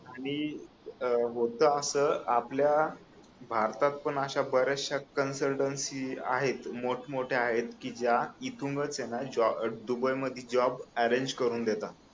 आणि अं होत अस आपल्या भारतात पण अश्या ब-याशच्या कन्सल्टन्सी आहेत मोठ मोठ्या आहेत ज्या इथूनच ना दुबई मध्ये जॉब अरेंज करुन देतात